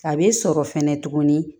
A bɛ sɔrɔ fɛnɛ tuguni